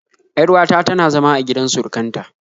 Yar uwa ta na zama a gidan surukan ta